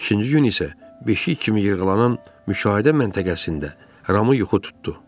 İkinci gün isə beşik kimi yırğalanan müşahidə məntəqəsində Ramı yuxu tutdu.